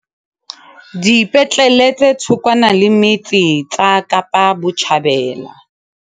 Dipetlele tse thokwana le metse tsa Kapa Botjhabela